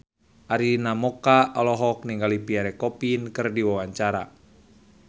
Arina Mocca olohok ningali Pierre Coffin keur diwawancara